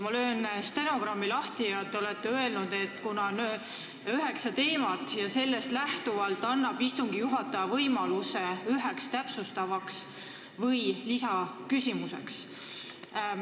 Ma löön stenogrammi lahti: te olete öelnud, et kuna on üheksa teemat, siis annab istungi juhataja võimaluse esitada ühe täpsustava küsimuse.